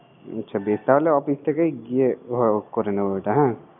আচ্ছা বেশ তাহলে অফিস থেকেই গিয়ে করে নিবো ওটা